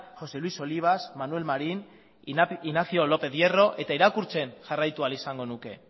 josé luis olivas manuel marín ignacio lópez hierro eta irakurtzen jarraitu ahal izango nuke